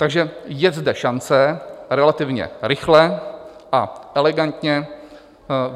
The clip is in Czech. Takže je zde šance relativně rychle a elegantně